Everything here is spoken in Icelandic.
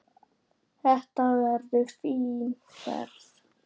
Þetta verður fín ferð.